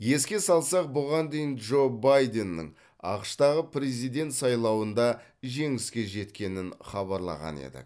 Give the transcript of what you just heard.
еске салсақ бұған дейін джо байденнің ақш тағы президент сайлауында жеңіске жеткенін хабарлаған едік